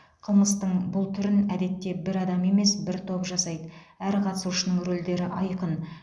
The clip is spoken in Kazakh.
қылмыстың бұл түрін әдетте бір адам емес бір топ жасайды әр қатысушының рөлдері айқын